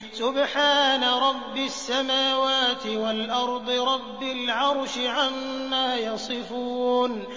سُبْحَانَ رَبِّ السَّمَاوَاتِ وَالْأَرْضِ رَبِّ الْعَرْشِ عَمَّا يَصِفُونَ